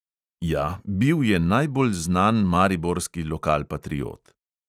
Ja, bil je najbolj znan mariborski lokalpatriot.